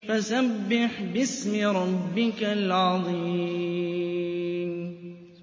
فَسَبِّحْ بِاسْمِ رَبِّكَ الْعَظِيمِ